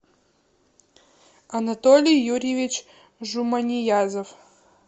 анатолий юрьевич жуманиязов